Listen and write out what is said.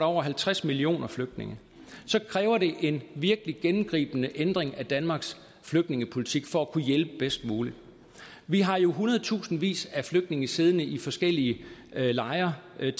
over halvtreds millioner flygtninge kræver en virkelig gennemgribende ændring af danmarks flygtningepolitik for at kunne hjælpe bedst muligt vi har jo hundredtusindvis af flygtninge siddende i forskellige lejre tæt